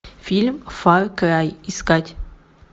фильм фар край искать